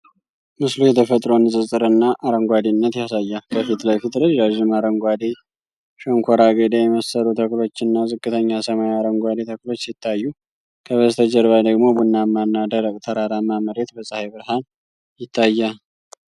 ምስሉ የተፈጥሮን ንፅፅር እና አረንጓዴነት ያሳያል። ከፊት ለፊት ረዣዥም አረንጓዴ ሸንኮራ አገዳ የመሰሉ ተክሎችና ዝቅተኛ ሰማያዊ አረንጓዴ ተክሎች ሲታዩ፣ ከበስተጀርባ ደግሞ ቡናማ እና ደረቅ ተራራማ መሬት በፀሐይ ብርሃን ይታያል።